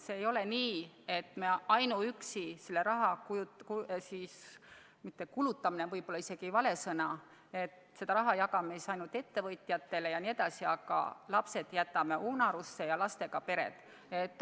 See ei ole nii, et me selle raha – "kulutamine" on võib-olla vale sõna –, ütleme siis, et jagame ainult ettevõtjatele jne, aga lapsed ja lastega pered jätame unarusse.